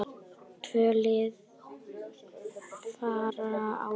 Tvö lið fara áfram.